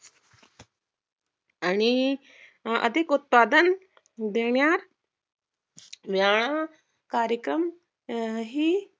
आणि अधिक उत्पादन देण्यात व्यायाम कार्यक्रम अं ही